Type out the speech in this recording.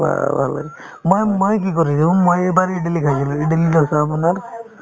ভাল লাগে মই~ মই কি কৰিছো মই এইবাৰ ইদলি খাইছিলো ইদলি, দোচা আপোনাৰ